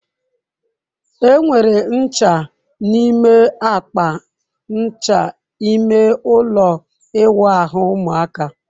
Enwere ncha n'ime akpa ncha ime ụlọ ịwụ ahu ụmụaka.